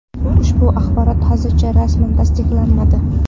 Ushbu axborot hozircha rasman tasdiqlanmadi.